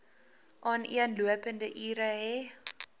aaneenlopende ure hê